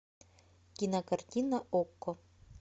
кинокартина окко